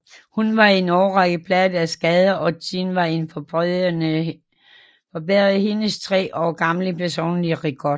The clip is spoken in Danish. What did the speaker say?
Hun var i en årrække plaget af skader og tiden var en forbedrede hendes tre år gamle personlige rekord